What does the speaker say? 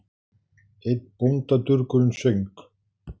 Einn bóndadurgurinn söng